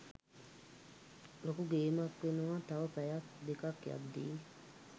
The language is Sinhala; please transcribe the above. ලොකු ගේමක් වෙනවා තව පැයක් දෙකක් යද්දී